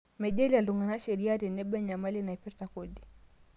Meijalie iltung'ana sheriaa tenebo enyamali naipirta kodi